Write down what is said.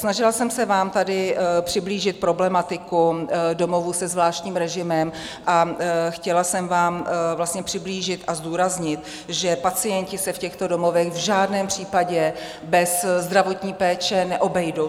Snažila jsem se vám tady přiblížit problematiku domovů se zvláštním režimem a chtěla jsem vám vlastně přiblížit a zdůraznit, že pacienti se v těchto domovech v žádném případě bez zdravotní péče neobejdou.